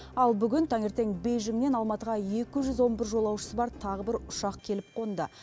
ал бүгін таңертең бейжіңнен алматыға екі жүз он бір жолаушысы бар тағы бір ұшақ келіп қонды